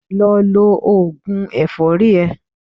Lọ lo òògùn ẹ̀fọ́rì ẹ.